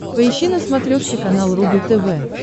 поищи на смотрешке канал рубль тв